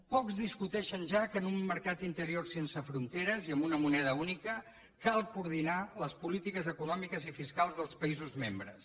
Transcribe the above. pocs discuteixen ja que en un mercat interior sense fronteres i amb una moneda única cal coordinar les polítiques econòmiques i fiscals dels països membres